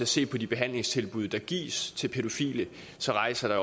se på de behandlingstilbud der gives til pædofile så rejser